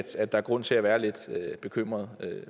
at der er grund til at være lidt bekymret